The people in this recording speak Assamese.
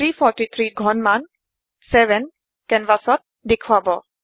343ৰ ঘনমান 7 কেনভাচত দেখোৱাব